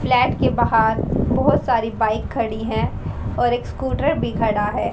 Flat के बाहर बहोत सारी बाइक खड़ी है और एक स्कूटर भी खड़ा है।